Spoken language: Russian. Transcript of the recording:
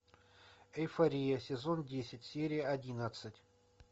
эйфория сезон десять серия одиннадцать